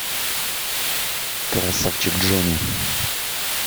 красавчик джонни